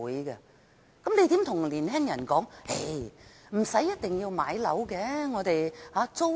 那我們如何對年青人說不一定要買樓，租住也可以？